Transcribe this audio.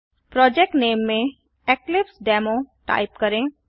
project name में Eclipse demo type करें